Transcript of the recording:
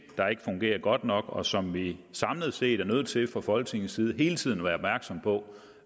der ikke fungerer godt nok og som vi samlet set er nødt til fra folketingets side hele tiden at være opmærksomme på